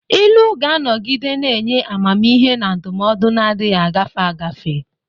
Ilu ga-anọgide na-enye amamihe na ndụmọdụ na-adịghị agafe agafe.